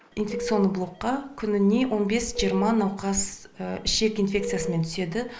инфекционный блокқа күніне он бес жиырма науқас ішек инфекциясымен түседі